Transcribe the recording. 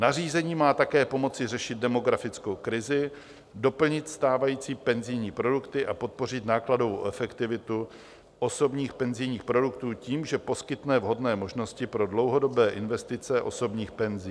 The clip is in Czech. Nařízení má také pomoci řešit demografickou krizi, doplnit stávající penzijní produkty a podpořit nákladovou efektivitu osobních penzijních produktů tím, že poskytne vhodné možnosti pro dlouhodobé investice osobních penzí.